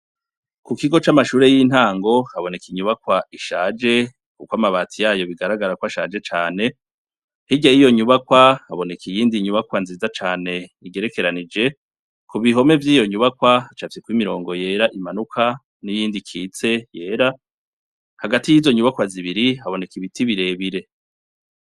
Kukigo ca mashure yintango haboneka inyubakwa ishaje ko amabati yayo bigaragara ko ashaje Cane , hirya yiyonyubakwa , haboneka iyindi inyubakwa nziza cane igerekeranije, ibihome vyiyo nyubakwa hacafyeho imirongo yera imanuka niyindi ikitse yera Hagati yizo nyubako haboneka ibiti birebire.